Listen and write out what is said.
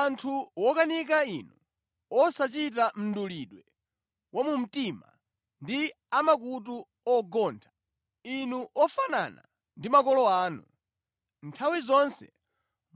“Anthu wokanika inu, osachita mdulidwe wa mu mtima ndi a makutu ogontha! Inu ofanana ndi makolo anu. Nthawi zonse